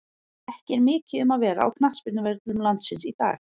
Ekki er mikið um að vera á knattspyrnuvöllum landsins í dag.